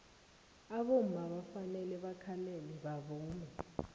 abomma bafanele bakhalele bavume